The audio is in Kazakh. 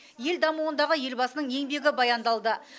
ел дамуындағы елбасының еңбегі баяндалды